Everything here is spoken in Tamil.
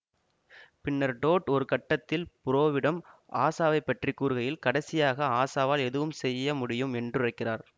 பின்னர் டோட் ஒருகட்டத்தில் புரோவிடம் ஆஷாவைபற்றி கூறுகையில் கடைசியாக ஆஷாவால் எதுவும் செய்ய முடியும் என்றுரைக்கிறார்